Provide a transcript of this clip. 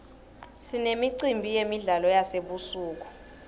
sinemicimbi yemidlalo yasebusuku